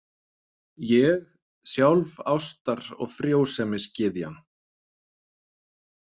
Ég, sjálf ástar- og frjósemisgyðjan!